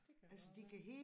Det kan godt være